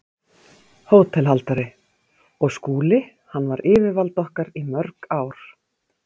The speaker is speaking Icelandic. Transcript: HÓTELHALDARI: Og Skúli- hann var yfirvald okkar í mörg ár.